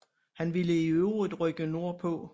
Han ville i øvrigt rykke nordpå